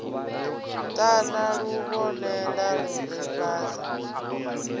ṱana luvhonela lu re fhasi